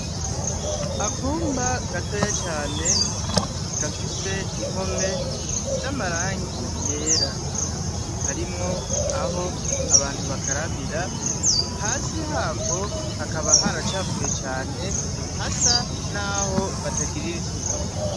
Akumba gatoyi cane gafise impome zamarangi yera harimwo aho abantu bakarabira hasi hako hakaba haracafuye cane hasa naho batagirira isuku.